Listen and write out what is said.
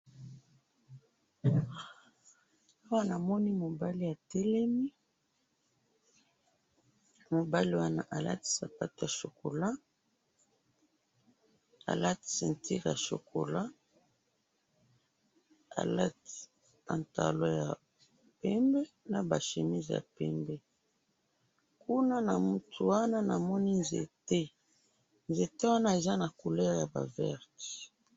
awa namoni mobali atelemi, mobali wana alati sapatu ya chocolat, alati ceinture ya chocolat, alati pantalon ya pembe, naba chemise ya pembe, kuna na mutu wana namoni nzete, nzete wana eza naba couleur ya verte